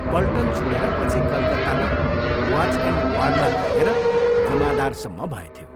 पल्टन छोडेर पछि कलकत्तामा वाच एण्ड वार्डमा लागेर जमादारसम्म भएथ्यो।